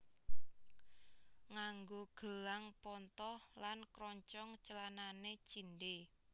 Nganggo gelang pontoh lan kroncong clanane cindhe